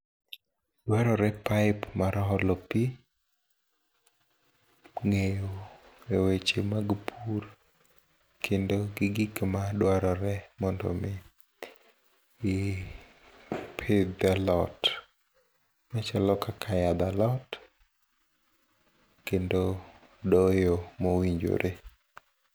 dwarore pipe mar holo pi e ng'eyo e weche mag pur kendo gi gik madwarore mondo mi ipidh alot machalo kaka yadh alot kendo doyo mowinjore.